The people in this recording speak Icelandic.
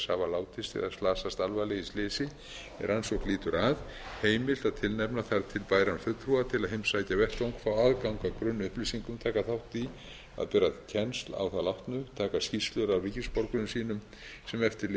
slasast alvarlega í slysi er rannsókn lýtur að heimilt að tilnefna þar til bæran fulltrúa til að heimsækja vettvang fá aðgang að grunnupplýsingum taka þátt í að bera kennsl á þá látnu taka skýrslur af ríkisborgurum sínum sem eftir lifa